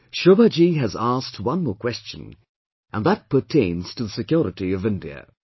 Shobha Ji has asked one more question and that pertains to the security of India